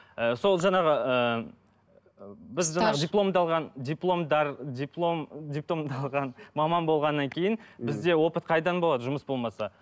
ы сол жаңағы ыыы біз жаңағы дипломды алған дипломды алған маман болғаннан кейін бізде опыт қайдан болады жұмыс болмаса